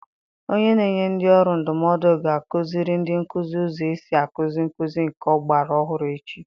Onye na-enye ndị ọrụ ndụmọdụ ga-akụziri ndị nkuzi ụzọ esi akuzi nkụzi nke ọgbara ọhụrụ echi.